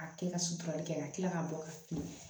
A kɛ ka suturali kɛ ka kila ka bɔ ka